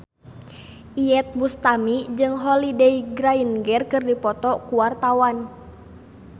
Iyeth Bustami jeung Holliday Grainger keur dipoto ku wartawan